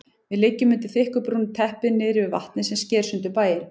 Við liggjum undir þykku brúnu teppi niðri við vatnið sem sker sundur bæinn.